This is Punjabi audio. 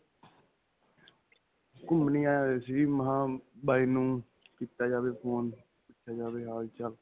ਘੁਮੰਣ ਹੀ ਆਇਆ ਹੋਇਆ ਸੀ ਜੀ, ਮੈਂ ਕਿਹਾ ਬਾਈ ਨੂੰ ਕੀਤਾ ਜਾਵੇ phone, ਪੁਛਿਆ ਜਾਵੇ ਹਾਲ-ਚਾਲ.